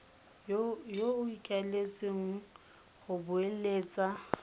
yo o ikaeletseng go beeletsa